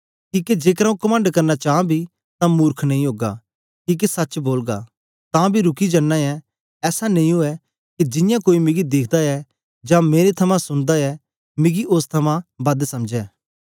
किके जेकर आंऊँ कमंड करना चां बी तां मुर्ख नेई ओगा किके सच्च बोलगा तां बी रुकी जन्नां ऐ ऐसा नेई ऊऐ के जियां कोई मिकी दिखदा ऐ जां मेरे थमां सुनदा ऐ मिकी ओस थमां बद समझै